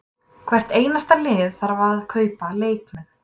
Hvert einasta lið þarf að kaupa leikmenn.